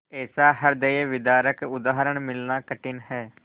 ऐसा हृदयविदारक उदाहरण मिलना कठिन है